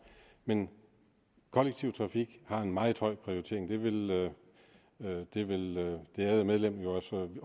men kollektiv trafik har en meget høj prioritering og det ville det ærede medlem